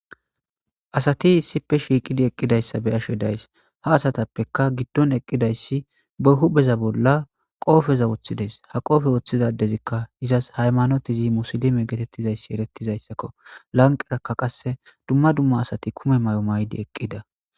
Asati issippe shiiqidi eqqidayssa be'ashe days ha asatappeka giddon eqqidayssi behu beza bolla qoofeza woththides ha qoofe woththizadezikka izas haymanotizi musilime geetettizayssi erettizayssakko lanqerakka qasse dumma dumma asati kume may7o maydi eqqida